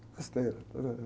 Besteira.